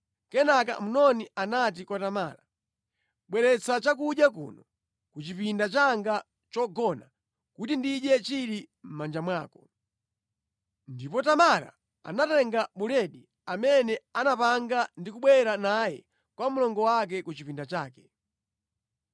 Kenaka Amnoni anati kwa Tamara, “Bweretsa chakudya kuno, ku chipinda changa chogona kuti ndidye chili mʼmanja mwako.” Ndipo Tamara anatenga buledi amene anapanga ndi kubwera naye kwa mlongo wake ku chipinda chake.